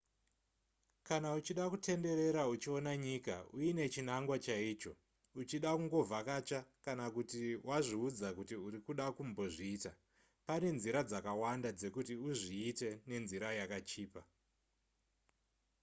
kana uchida kutenderera uchiona nyika uine chinangwa chaicho uchida kungovhakacha kana kuti wazviudza kuti uri kuda kumbozviita pane nzira dzakawanda dzekuti uzviite nenzira yakachipa